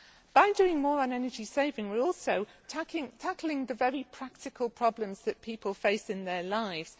By doing more on energy saving, we are also tackling the very practical problems that people face in their lives.